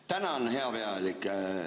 Tänan, hea pealik!